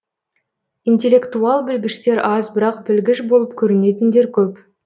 интелектуал білгіштер аз бірақ білгіш болып көрінетіндер көп